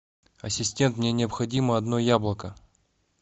ассистент мне необходимо одно яблоко